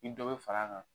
Ni dɔ bɛ fara a kan